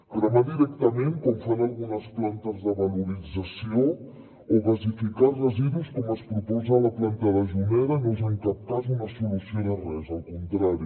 cremar directament com fan algunes plantes de valorització o gasificar residus com es proposa a la planta de juneda no és en cap cas una solució de res al contrari